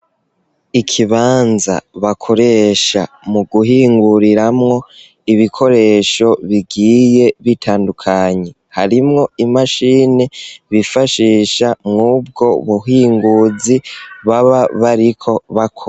Ikibanza bakoresha mu guhinguriramwo ibikoresho bigiye bitandukanye. Harimwo imashini bifashisha muri ubwo buhinguzi baba bariko bakora.